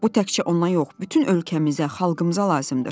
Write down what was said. Bu təkcə ona yox, bütün ölkəmizə, xalqımıza lazımdır.